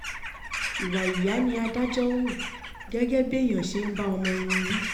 ìwà ìyá ni adájọ́ hù gẹ́gẹ́ bí èèyàn ṣe ń bá ọmọ ẹni wí